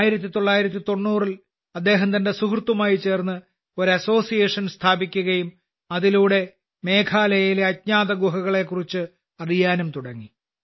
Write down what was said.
1990ൽ അദ്ദേഹം തന്റെ സുഹൃത്തുമായി ചേർന്ന് ഒരു അസോസിയേഷൻ സ്ഥാപിക്കുകയും അതിലൂടെ മേഘാലയയിലെ അജ്ഞാത ഗുഹകളെക്കുറിച്ച് അറിയാനും തുടങ്ങി